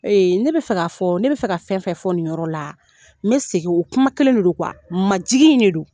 Eee ne bɛ fɛ ka fɔ, ne bɛ fɛ ka fɛn fɛn fɔ nin yɔrɔ la, me segin o kuma kelen le lo majigin in de don.